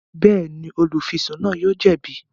Bẹẹni, olufisun náà yóò jẹbi